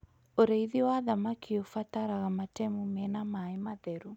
Ũrĩithi wa thamaki ũbataraga matemu mena maĩ matheru